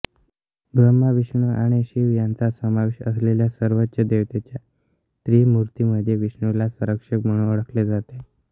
ब्रह्मा विष्णू आणि शिव यांचा समावेश असलेल्या सर्वोच्च देवतेच्या त्रिमूर्तीमध्ये विष्णूला संरक्षक म्हणून ओळखले जाते